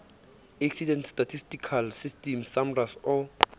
accident statistical system samrass o